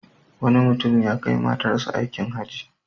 Wani mutum ya kai matarsa aikin Hajji.